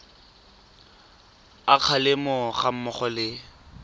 a kgalemo ga mmogo le